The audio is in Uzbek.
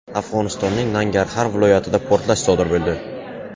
Afg‘onistonning Nangarxar viloyatida portlash sodir bo‘ldi.